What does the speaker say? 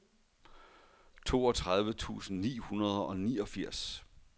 toogtredive tusind ni hundrede og niogfirs